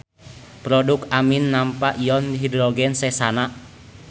Produk amin nampa ion hidrogen sesana.